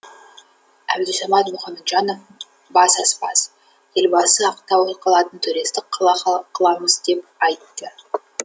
әбдусамат мұхамеджанов бас аспаз елбасы ақтау қалатын туристік қала қыламыз деп айтты